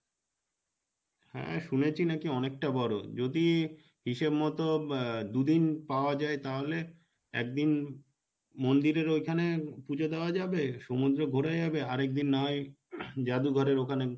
হ্যাঁ শুনেছি নাকী অনেকটা বড়ো যদি হিসেব মত আহ দুদিন পাওয়া যাই তাহলে একদিন মন্দিরের ওইখানে পুজো দেওয়া যাবে সমুদ্র ঘোরা যাবে আরেকদিন না হয় জাদুঘরের ওখানে,